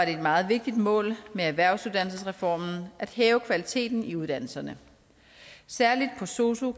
et meget vigtigt mål med erhvervsuddannelsesreformen at hæve kvaliteten i uddannelserne særlig på sosu